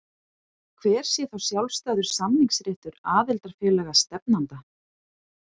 Hver sé þá sjálfstæður samningsréttur aðildarfélaga stefnanda?